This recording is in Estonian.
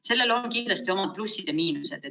Sellel on kindlasti omad plussid ja miinused.